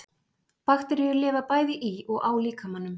Bakteríur lifa bæði í og á líkamanum.